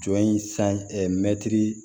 Jɔ in